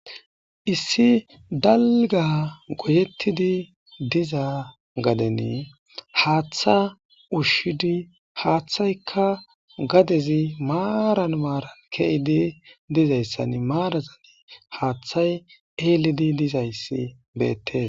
Issi dalga goyetida diza gaden Hatha ushid hathayka gadez maran maran kezid dizaysan hathay elid dizays betes.